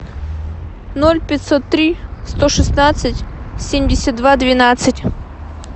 ноль пятьсот три сто шестнадцать семьдесят два двенадцать